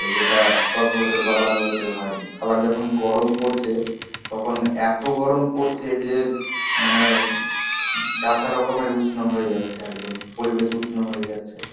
যেটা দশ বছর বা বারো বছরে হয়নি. আবার যখন গরম পড়ছে, তখন এত গরম পড়ছে, যে মানে যা তা রকমের উষ্ম হয়ে যাচ্ছে একদম. পরিবেশ উষ্ম হয়ে যাচ্ছে.